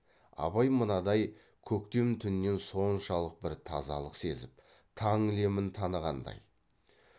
абай мынадай көктем түнінен соншалық бір тазалық сезіп таң лемін танығандай